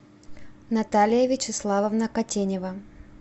наталья вячеславовна котенева